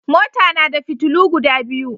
Mota nada fitulu guda biyu